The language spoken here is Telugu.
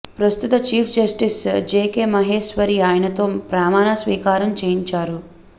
ప్రస్తుత చీఫ్ జస్టిస్ జేకే మహేశ్వరి ఆయనతో ప్రమాణ స్వీకారం చేయించారు